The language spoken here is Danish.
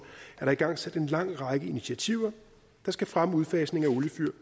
er der igangsat en lang række initiativer der skal fremme udfasning af oliefyr